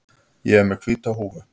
Ég er með hvíta húfu.